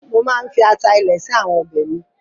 Mo máa ń fi ata ilẹ̀ sí àwọn ọbẹ̀ mi.